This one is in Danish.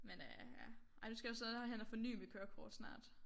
Men øh ja ej nu skal jeg også derhen og forny mit kørekort snart